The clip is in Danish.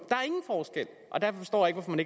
der